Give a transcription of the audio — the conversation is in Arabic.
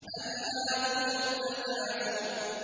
أَلْهَاكُمُ التَّكَاثُرُ